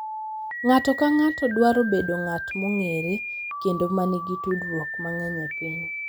Ng’ato ka ng’ato dwaro bedo ng’at mong’ere kendo ma nigi tudruok mang’eny e piny